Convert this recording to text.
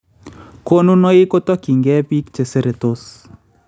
Konunoiik kotokyiinke biik cheseretos